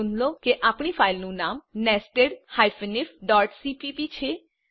નોંધ લો કે આપણી ફાઈલનું નામ nested ifસીપીપી છે